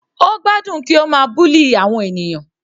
Ó gbádùn kí ó ma bully àwọn ènìyàn.